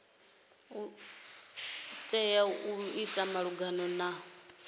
tea u ita malugana na